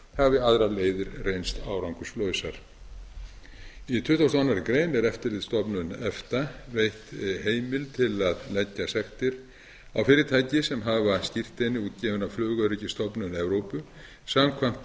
hafi aðrar leiðir reynst árangurslausar í tuttugasta og aðra grein er eftirlitsstofnun efta veitt heimild til að leggja sektir á fyrirtæki sem hafa skírteini útgefin af flugöryggisstofnun evrópu samkvæmt